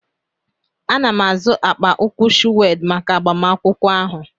Ana m azụ akpa ụkwụ shụwed maka agbamakwụkwọ ahụ.